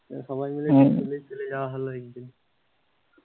সবাই মিলে যাওয়া হলে ভালোই